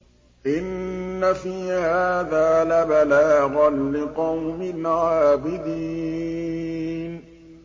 إِنَّ فِي هَٰذَا لَبَلَاغًا لِّقَوْمٍ عَابِدِينَ